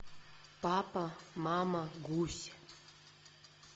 папа мама гусь